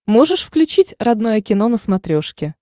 можешь включить родное кино на смотрешке